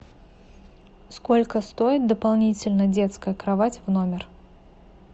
сколько стоит дополнительно детская кровать в номер